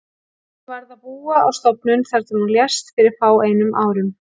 Hún varð að búa á stofnun þar til hún lést fyrir fáeinum árum.